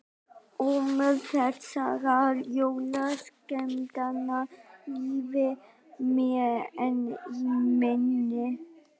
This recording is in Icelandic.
Ómur þessara jólaskemmtana lifir mér enn í minni.